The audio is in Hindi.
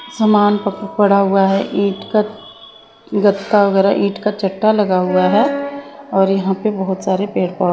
सामान पड़ा हुआ है ईंट का गत्ता वगैरह ईंट का चट्टा लगा हुआ है और यहां पे बहुत सारे पेड़ पौधे--